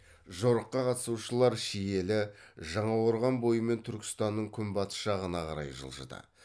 жорыққа қатысушылар шиелі жаңақорған бойымен түркістанның күнбатыс жағына қарай жылжыды